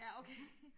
Ja okay